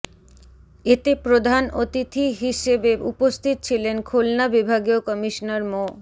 এতে প্রধান অতিথি হিসেবে উপস্থিত ছিলেন খুলনা বিভাগীয় কমিশনার মো